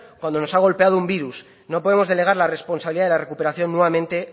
cuando nos ha golpeado un virus no podemos delegar la responsabilidad de la recuperación nuevamente